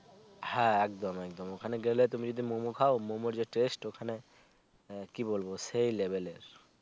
হ্যা একদম একদম ওখানে গেলে তুমি যদি মোমো খাও মোমো যে test ওখানে আহ কি বলবো সেই level এর